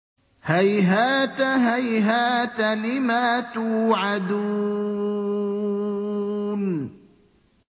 ۞ هَيْهَاتَ هَيْهَاتَ لِمَا تُوعَدُونَ